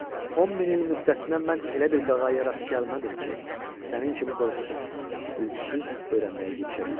10 min il müddətinə mən elə bir qağayıya rast gəlmədim ki, sənin kimi qorxusuz, ürküsuz öyrənməyə girişə bilsin.